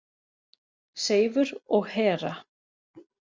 Seifur og Hera.